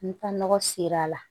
N taa nɔgɔ ser'a la